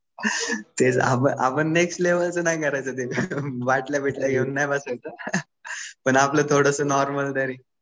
आपण नेक्स्ट लेव्हलचा नाही करायचं ते. बाटल्या बिट्ल्या घेऊन नाही बसायचं. पण थोडंसं नॉर्मल तरी.